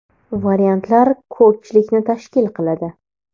Variantlar ko‘pchilikni tashkil qiladi.